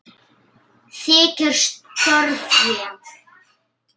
Þykir stórfé.